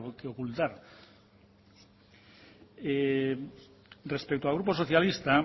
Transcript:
que ocultar respecto al grupo socialistas